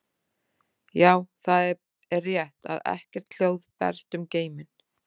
Já, það er rétt að ekkert hljóð berst um geiminn.